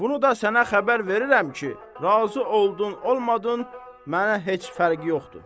Bunu da sənə xəbər verirəm ki, razı oldun, olmadın, mənə heç fərqi yoxdur.